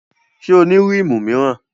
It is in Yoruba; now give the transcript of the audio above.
Ṣé o ní rímù míràn?